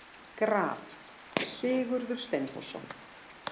Graf: Sigurður Steinþórsson.